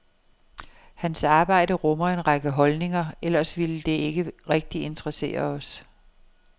Hans arbejde rummer en række holdninger, ellers ville det ikke rigtig interessere os.